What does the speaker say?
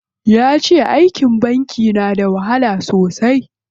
Yace aikin banki da wahala sosai.